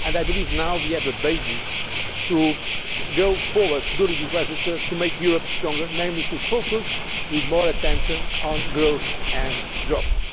avoid that. I believe now we have a basis to go forward during this legislature to make Europe strong, namely to focus with more attention on growth